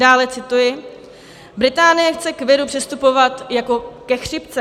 Dále cituji: "Británie chce k viru přistupovat jako ke chřipce."